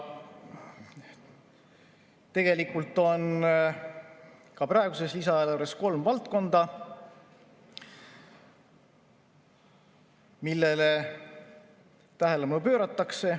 Tegelikult on ka praeguses lisaeelarves kolm valdkonda, millele tähelepanu pööratakse.